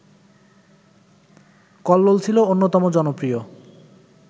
কল্লোল ছিল অন্যতম জনপ্রিয়